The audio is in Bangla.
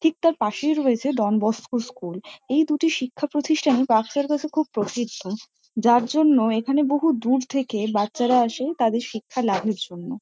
ঠিক তার পাশেই রয়েছে ডন বসকো স্কুল . এই দুটি শিক্ষা প্রতিষ্ঠান পার্কসার্কাস -এ খুব প্রসিদ্ধ। যার জন্য এখানে বহু দূর থেকে বাচ্চারা আসে তাদের শিক্ষা লাভের জন্য।